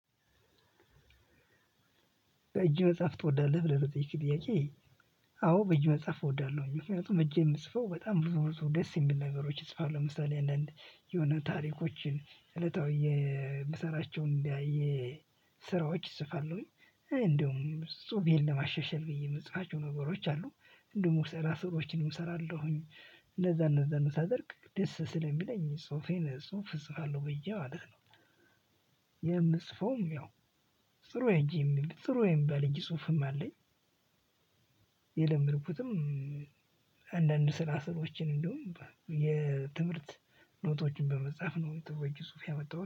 በእጅ መጽሐፍ ትወዳለህ ብለህ ለጠየከኝ ጥያቄ? አዎ በእጅ መጽሐፍ እወዳለሁኝ ምክንያቱም እጄ የምጽፈው በጣም ብዙ ብዙ ደስ የሚል ነገሮች እፅፍ ለሁ ለምሳሌ አንዳንድ የሆነ ታሪኮችን እለታዊ የምሰራቸውን እንዲያይ። ስራዎች እፅፍለሁኝ እንደውም ፅሁፌን ለማሻሻል ብዬ የምጽፋቸው ነገሮች አሉ እንደውም ስራ ስሮችንም እሰራለሁኝ እንደዛ እንደዛ ነው ሳደርግ ደስ ስለሚለኝ ጽሁፌን ጽሁፍ እጽፋለሁ ብየ ማለት ነው። የምጽፈውም ያው ጥሩ እጅ የሚል ጥሩ የሚባል የእጅ ጽሁፍም አለኝ። የለመድኩትም። አንዳንድ ስራ ሰዎችን እንደውም የትምህርት ኖቶችን በመጽሐፍ ነው ጥሩ የእጅ ጽሁፍ ያመጣሁት